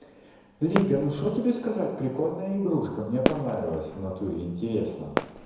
лига ну что тебе сказать прикольная игрушка мне понравилось в натуре интересно